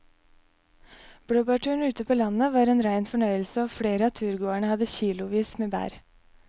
Blåbærturen ute på landet var en rein fornøyelse og flere av turgåerene hadde kilosvis med bær.